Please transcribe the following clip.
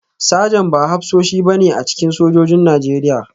Sajan ba hafsoshi ba ne a cikin sojojin Najeriya